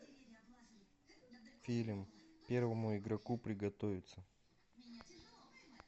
фильм первому игроку приготовиться